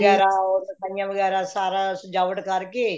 ਵਗੈਰਾ or ਸਫਾਈਆਂ ਵਗੈਰਾ ਸਾਰਾ ਸ੍ਜਾਵਟ ਕਰਕੇ